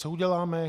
Co uděláme?